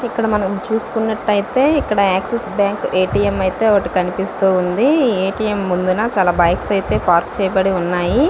ఇక్కడ మనము చూసుకొన్నట్టు ఐతే ఇక్కడ Axis bank A. T. M. ఐతే ఒకటి కనిపిస్తూవుంది ఏ. టి. ఎం. ముందున చాలా బైక్స్ ఐతే పార్క్ చేయబడి ఉన్నాయి.